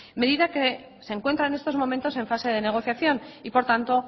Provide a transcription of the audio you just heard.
medida que se encuentra en estos momentos en fase de negociación y por tanto